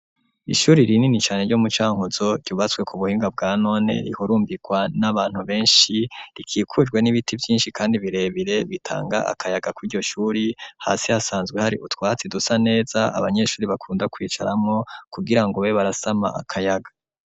Ishuri rinini cane ryo mu Cankuzo ryubatswe ku buhinga bwa none rihurumbirwa n'abantu beshi rikikujwe n'ibiti vyishi kandi birebire bitanga akayaga kw'iryoshuri hasi hasanzwe hari utwatsi dusa neza abanyeshuri bakunda kwicaramwo kugirango babe barasama akayaga.